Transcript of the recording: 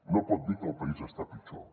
no pot dir que el país està pitjor